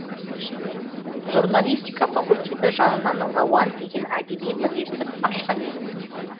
журналистика факультеті жанынан рауан деген әдеби бірлестік ашқан едік